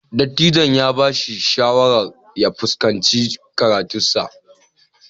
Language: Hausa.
Dattijon ya ba shi shawarar ya fuskanci karatunsa.